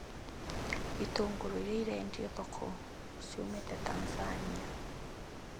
Itũngũrũ iria ireendio thoko ciumĩte Tanzania